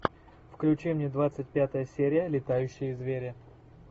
включи мне двадцать пятая серия летающие звери